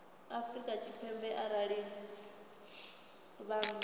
afrika tshipembe arali vha nnḓa